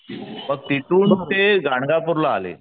मग तिथून ते गाणगापूर ला आले,